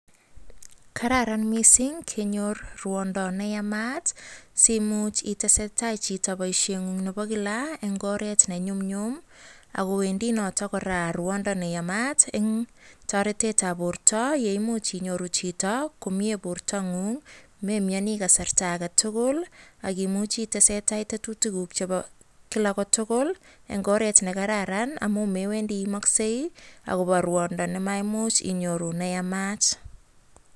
Kararan mising kenyor rwondo neyamat simuuch iteseta chito boisheng'ung nebo kilaa en oret ne nyumnyum akoo wendii kora rwondo neyamat eng' toretetab borto yeimuch inyoru chito komie bortang'ung memioni kasarta aketugul ak imuch itesetai tetutikuk chebo kotukul en oreet nekararan amun mewendi iimoksei akobo rwondo nemaimuch inyoru nemayamat.